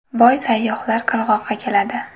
Boy sayyohlar qirg‘oqqa keladi.